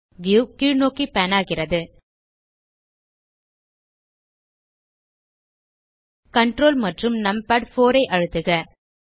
view கீழ்நோக்கி pan ஆகிறது ctrl மற்றும் நம்பாட்4 ஐ அழுத்துக